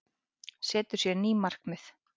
Setur sér ný markmið